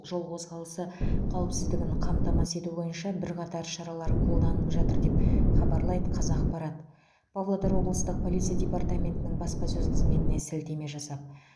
жол қозғалысы қауіпсіздігін қамтамасыз ету бойынша бірқатар шаралар қолданып жатыр деп хабарлайды қазақпарат павлодар облыстық полиция департаментінің баспасөз қызметіне сілтеме жасап